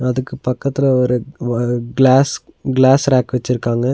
அதுக்கு பக்கத்துல ஒரு வ கிளாஸ் கிளாஸ் ரேக் வச்சிருக்காங்க.